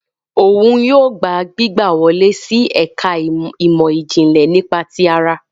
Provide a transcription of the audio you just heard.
Òun yóò gbà gbígbà wọle si ẹka imọ-jinlẹ nípa ti àrà